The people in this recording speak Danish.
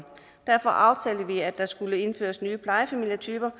derfor aftalte vi at der skulle indføres nye plejefamilietyper